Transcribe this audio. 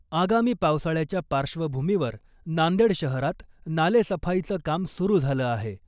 आगामी पावसाळ्याच्या पार्श्वभूमीवर नांदेड शहरात नाले सफाईचं काम सुरु झालं आहे .